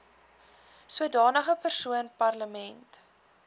sodanige persoon permanent